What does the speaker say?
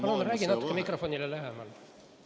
Palun räägi natuke mikrofonile lähemal!